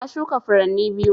Na shuka furanni biyu